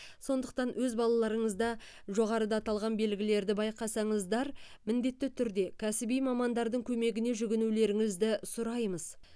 сондықтан өз балаларыңызда жоғарыда аталған белгілерді байқасаңыздар міндетті түрде кәсіби мамандардың көмегіне жүгінулеріңізді сұраймыз